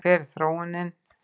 En hver er þróunin?